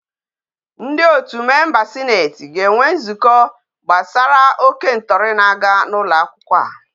Ndi otu member senate ga enwe nzukọ gbasara oke ntọri na aga na ụlọakwụkwọ a